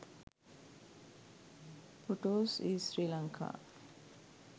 photos is sri lanka.